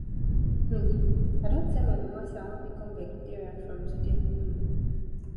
um i don tell my mama say i wan become vegetarian from today um